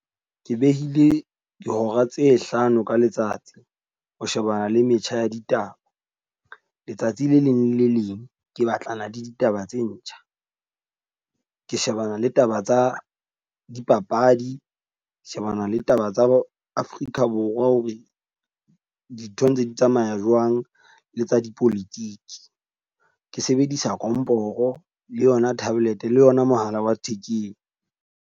Ke behile dihora tse hlano ka letsatsi, ho shebana le metjha ya ditaba. Letsatsi le leng le le leng ke batlana le ditaba tse ntjha. Ke shebana le taba tsa dipapadi, shebana le taba tsa Afrika Borwa ho re dintho ntse di tsamaya jwang le tsa di politiki. Ke sebedisa komporo le yona tablet le yona mohala wa thekeng.